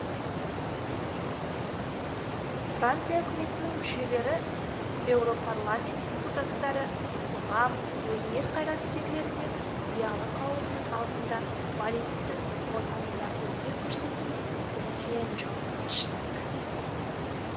франция үкіметінің мүшелері еуропарламент депутаттары қоғам өнер қайраткерлері мен зиялы қауымның алдында балеттің отанында өнер көрсету үлкен жауапкершілік